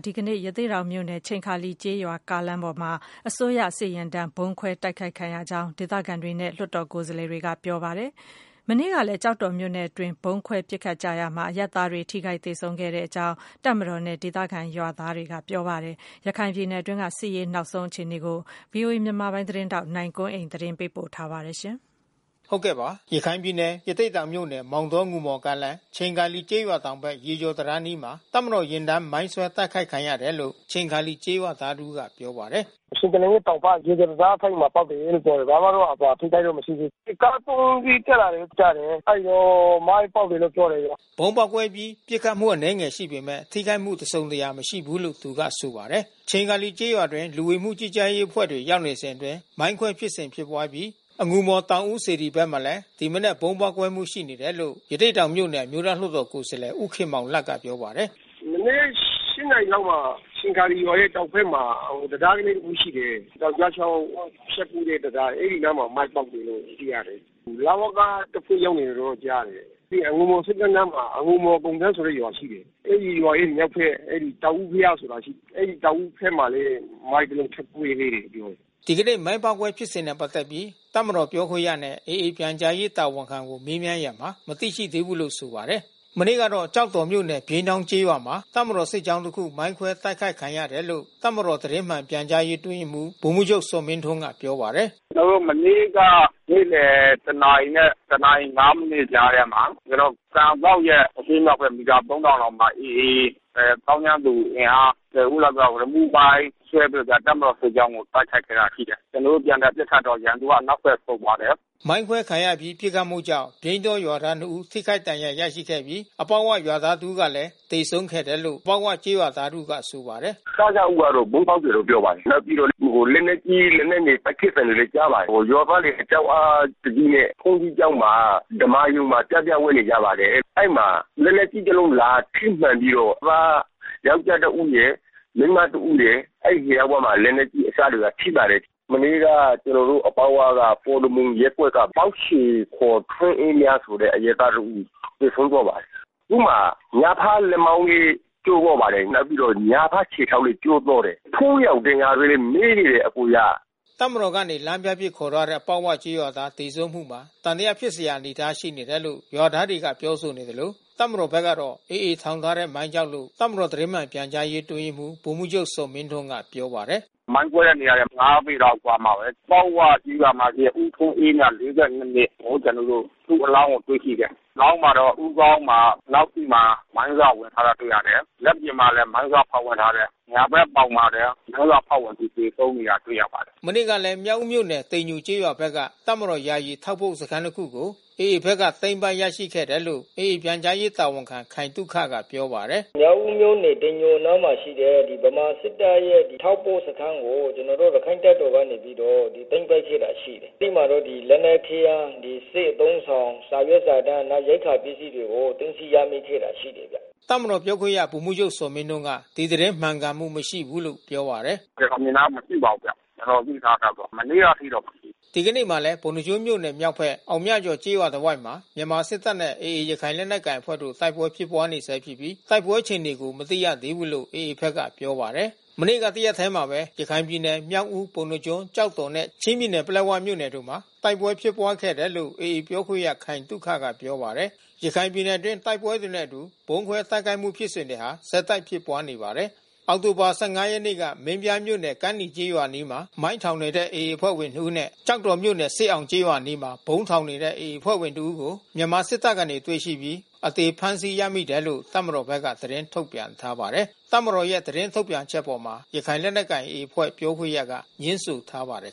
ဒီကနေ့ ရသေ့တောင်မြို့နယ်၊ ချိန်ခါလီကျေးရွာကားလမ်းအပေါ်မှာ မြန်မာစစ်ယာဉ်တန်းဗုံးခွဲတိုက်ခိုက်ခံရတယ်လို့ ဒေသခံတွေနဲ့ လွှတ်တော်ကိုယ်စား လှယ်တွေကပြောပါတယ်။ မနေ့ကလဲကျောက်တော်မြို့နယ်အတွင် းဗုံးခွဲပစ်ခတ်တိုက်ခိုက်မှုဖြစ်စဉ်မှာ အရပ်သားတွေ ထိခိုက်သေဆုံးမှုရှိခဲ့တယ်လို့လဲ တပ်မတော်နဲ့ ဒေသခံရွာသားတွေကဆိုပါတယ်။ ရခိုင်ပြည်နယ်အတွင်းစစ်ရေးနောက်ဆုံး အခြေအနေကိုတော့ ဗွီအိုအေမြန်မာပိုင်းသတင်းထောက်နိုင်ကွန်းအိန်ကနေ သတင်းပေးပို့ထားပါတယ်။ ရခိုင်ပြည်နယ်၊ ရသေ့တောင်မြို့နယ်၊ မောင်တော-အငူမော်ကားလမ်း ချိန်ခါလီကျေးရွာတောင်ဖက် ရေကျော်တံတား အနီးမှာ တပ်မတော်ယာဉ်တန်း မိုင်းဆွဲတိုက်ခိုက်ခံရတယ်လို့ ချိန်ခါလီကျေးရွာသားတဦးကပြောပါတယ်။ “ချိန်ခါလီရဲ့တောင်ဖက် ရေကျော်တံတားထိပ်မှာပေါက်တယ်လို့ပြောတယ်။ ဘာမှတော့ထိခိုက်မှုမရှိဘူး။ စစ်ကား(၃)စီး တက်လာတယ်လို့တော့ကြားတယ်။ အဲဒီတုန်းမိုင်းပေါက်တယ်လို့ပြောတယ်ဗျ။” ဗုံးပေါက်ကွဲအပြီး ပစ်ခတ်မှုအနဲငယ်ရှိခဲ့ပေမဲ့ ထိခိုက်မှုတစုံတရာမရှိဘူးလို့သူကဆိုပါတယ်။ ချိန်ခါလီကျေးရွာအတွင်းလူဝင်မှုကြီးကြပ်ရေးအဖွဲ့တွေရောက်နေစဉ်အတွင်း မိုင်းခွဲဖြစ်စဉ်ဖြစ်ပွါးပြီး အငူမော် တောင်ဦး စေတီဘက်မှာလဲ ဒီမနက်ဗုံးပေါက်ကွဲမှုရှိနေတယ်လို့ ရသေ့တောင်မြို့နယ် အမျိုးသားလွှတ်တော်ကိုယ်စားလှယ် ဦးခင်မောင်လတ်ကပြောပါတယ်။ “မနက်(၈)နာရီလောက်မှာ ချိန်ခါလီရွာရဲ့တောင်ဖက်မှာတံတားလေးတခုရှိတယ်။ တောင်ကျချောင်းဖြတ်ကူးတဲ့တံတား။ အဲဒီနားမှာမိုင်းပေါက်တယ်လို့သိရတယ်။ လဝကတဖွဲ့ရောက်နေတယ်လို့သိရတယ်။ အငူမော်ဆိပ်ကမ်းနားမှာ အငူမော်ကုန်တန်းဆိုတဲ့ရွာရှိတယ်။ အဲဒီရွာရဲ့မြောက်ဖက် တောင်ဦးဘုရားဆိုတာရှိတယ်။ အဲဒီတောင်ဦးဖက်မှာလဲ မိုင်းတလုံးထပ်ကွဲသေးတယ်လို့ပြောတယ်။” ဒီကနေ့မိုင်းပေါက်ကွဲမှုဖြစ်စဉ်နဲ့ပက်သက်ပြီးတပ်မတော်ပြောခွင့်ရနဲ့AAပြန်ကြားရေးတာဝန်ခံကိုမေးမြန်းရာမှာ မသိရှိသေးဘူးလို့ဆိုပါတယ်။ မနေ့ကတော့ ကျောက်တော်မြို့နယ်ပြိန်းတောင်းကျေးရွာမှာတပ်မတော်စစ်ကြောင်းတခုမိုင်းခွဲတိုက်ခိုက်ခံရတယ်လို့ တပ်မတော်သတင်းမှန်ပြန်ကြားရေးအတွင်းရေးမှူး ဗိုလ်မှူးချုပ်ဇော်မင်းထွန်းကပြောပါတယ်။ “ကျွန်တော်တို့မနေ့က နေ့လည်တနာရီနဲ့ တနာရီ(၅)မိနစ်ကြားထဲမှာ ကျွန်တော်တို့ကန်စောက်ရဲ့အရှေ့မြောက်ဖက် မီတာ(၃၀၀၀)လောက်မှာ AAသောင်းကျန်းသူအင်အား(၁၀)ဦးလောက်က ရီမုမိုင်းဆွဲပြီးတော့တပ်မတော်စစ်ကြောင်းကို တိုက်ခိုက်ခဲ့တာရှိတယ်။ ကျွန်တော်တို့ပြန်လည်ပစ်ခတ်တော့ ရန်သူအနောက်ဖက်ဆုတ်သွားတယ်။” မိုင်းခွဲခံရအပြီး ပစ်ခတ်မှုကြောင့်ပြိန်းတောရွာသား (၂)ဦး ထိခိုက်ဒဏ်ရာရရှိခဲ့ပြီး အပေါက်ဝကျေးရွာသား တဦးလဲ သေဆုံးခဲ့တယ်လို့ အပေါက်ဝကျေးရွာသားတဦးက ဆိုပါတယ်။ “စစဦးကတော့ဗုံးပေါက်တယ်လို့ပြောပါတယ်။ နောက်ပြီးတော့လက်နက်ကြီးလက်နက်ငယ်ပစ်သံတွေလဲကြားပါတယ်။ ရွာသားတွေကြောက်အားတကြီးနဲ့ ဘုန်းကြီးကျောင်းမှာ ဓမ္မာရုံမှာ ပြားပြားဝပ်နေကြပါတယ်။ အဲဒီမှာလက်နက်ကြီး တလုံးလာထိမှန်ပြီးတော့ ရွာသားယောကျာ်းတဦးရယ် မိန်းမတဦးရယ် အဲဒီနှစ်ယောက်မှာ လက်နက်ကြီးအစထိပါတယ်။ မနေ့ကကျွန်တော်တို့အပေါက်ဝက ပေါ်တော်မူရပ်ကွက်ကပေါက်ချေ(ခေါ်) ထွန်းအေးမြတ်ဆိုတဲ့အရပ်သားတဦး သေဆုံးသွားပါတယ်။ သူ့မှာညာဖက်လက်မောင်းလဲကျိုးသွားပါတယ်။ နောက်ပြီးတော့ညာဖက်ခြေထောက်လဲ ကျိုးသွားပါတယ်။ ဖူးယောင်ဒဏ်ရာတွေနဲ့မဲနေတယ်အကိုရ။” တပ်မတော်ကနေလမ်းပြအဖြစ်ခေါ်သွားတဲ့အပေါက်ဝကျေးရွာသားသေဆုံးမှုမှာ သံသယဖြစ်စရာအနေ အထား ရှိနေတယ်လို့ရွာသားတွေကပြောဆိုနေသလို တပ်မတော်ဖက်ကတော့ AAထောင်ထားတဲ့မိုင်းကြောင့်လို့ တပ်မ တော်သတင်းမှန်ပြန်ကြားရေးအတွင်းရေးမှူး ဗိုလ်မှူးချုပ်ဇော်မင်းထွန်းကပြောပါတယ်။ “မိုင်းကွဲတဲ့နေရာနဲ့(၅)ပေလောက်အကွာမှာဘဲ ပေါက်ဝကျေးရွာမှာ ထွန်းအေးမြတ်(၄၂)နှစ်ကိုကျွန်တော်တို့ သူ့အလောင်းကို တွေ့ရှိတယ်။ အလောင်းမှာတော့ဦးခေါင်းမှာနောက်စေ့မှာ မိုင်းစဝင်ထားတာတွေ့ရတယ်။ လက်ပြင်မှာလဲမိုင်းစဖေါက်ဝင်ထားတယ်။ ညာဖက်ပေါင်မှာလဲ မိုင်းစဖေါက်ဝင်ပြီးသေဆုံးနေတာတွေ့ရပါတယ်။ မနေ့ကလဲမြောက်ဦးမြို့နယ်၊ တိမ်ညိုကျေးရွာဖက်ကတပ်မတော် ယာယီထောက်ပို့စခန်းတခုကို AAဖက်က သိမ်းပိုက်ရရှိခဲ့တယ်လို့(AA)ပြန်ကြားရေးတာဝန်ခံခိုင်သုခကပြောပါတယ်။ “မြောက်ဦးမြို့နယ်တိမ်ညိုနားမှာရှိတဲ့ ဗမာစစ်တပ်ရဲ့ထောက်ပို့စခန်းကိုကျွန်တော်တို့ ရခိုင့်တပ်တော်ကနေပြီးတော့ သိမ်းပိုက်ခဲ့တာရှိတယ်။ အဲဒီမှာတော့လက်နက်ခဲယမ်း ဒီစစ်အသုံးဆောင် စာရွက်စာတန်း ရိက္ခာပစ္စည်းတွေကို သိမ်းဆီးရမိတာရှိတယ်။” တပ်မတော်ပြောခွင့်ရဗိုလ်မှူးချုပ်ဇော်မင်းထွန်းက ဒီသတင်းမှန်ကန်မှု မရှိဘူးလို့ပြောပါတယ်။ “ကျွန်တော်မြင်တာကမရှိပါဘူးဗျ။ ကျွန်တော်သိထားသလောက်တော့ မနေ့ကအထိတော့မရှိဘူး။” ဒီကနေ့မှာလဲ ပုဏ္ဏားကျွန်းမြို့နယ် မြောက်ဘက် အောင်မြကျော်ကျေးရွာတဝိုက်မှာ မြန်မာစစ်တပ်နဲ့AAရခိုင် လက် နက်ကိုင် အဖွဲ့တို့တိုက်ပွဲဖြစ်ပွားနေဆဲဖြစ်ပြီး တိုက်ပွဲအခြေအနေကိုမသိရသေးဘူးလို့ AAဖက်ကပြောပါတယ်။ မနေ့ကတရက်ထဲမှာ ရခိုင်ပြည်နယ်မြောက်ဦး၊ ပုဏ္ဏားကျွန်း၊ ကျောက်တော်နဲ့ ချင်းပြည်နယ်ပလက်ဝတို့မှာ တိုက်ပွဲဖြစ်ပွားခဲ့တယ်လို့AAပြောခွင့်ရ ခိုင်သုခကပြောပါတယ်။ ရခိုင်ပြည်နယ်အတွင်း တိုက်ပွဲတွေနဲ့အတူ ဗုံးခွဲတိုက်ခိုက်မှုဖြစ်စဉ်ဟာဆက်တိုက်ဖြစ်ပွားနေပါတယ်။ အောက်တိုဘာ ၁၅ရက်နေ့ကမင်းပြားမြို့နယ်၊ ကမ်းနီကျေးရွာအနီးမှာ မိုင်းထောင်နေတဲ့AA အဖွဲ့ဝင်နှစ်ဦးနဲ့ ကျောက်တော်မြို့နယ် စစ်အောင်ကျေးရွာအနားမှာ ဗုံးထောင်နေတဲ့ AAအဖွဲ့ဝင်တဦးကိုမြန်မာစစ်တပ်ကနေတွေ့ရှိပြီး အသေ ဖမ်းဆီးရမိလို့ တပ်မတော်ဖက်က သတင်းထုတ်ပြန်ထားပါတယ်။ တပ်မတော်ရဲ့ထုတ်ပြန်ချက်အပေါ်ရခိုင်လက်နက်ကိုင်AAအဖွဲ့ပြောခွင့်ရကငြင်းဆိုထားပါတယ်